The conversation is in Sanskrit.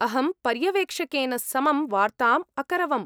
अहं पर्यवेक्षकेन समं वार्ताम् अकरवम्।